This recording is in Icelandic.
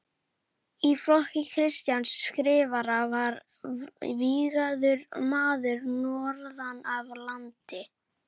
Í flokki Kristjáns Skrifara var vígður maður norðan af landi.